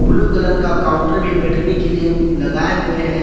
Blue colour का counter भी बैठने के लिए लगाए हुए हैं।